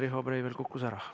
Riho Breiveli ühendus katkes.